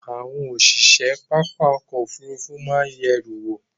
àwọn osise papá ọ̀kọ̀ ofúrúfú maa ye eru wo